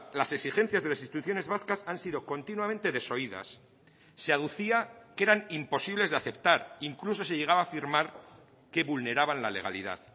las exigencias de las instituciones vascas han sido continuamente desoídas se aducía que eran imposibles de aceptar incluso se llegaba a afirmar que vulneraban la legalidad